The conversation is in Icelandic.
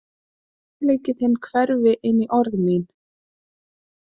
Að óróleiki þinn hverfi inní orð mín.